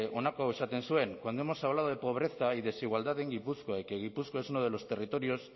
honako hau esaten zuen cuando hemos hablado de pobreza y desigualdad en gipuzkoa y que gipuzkoa es uno de los territorios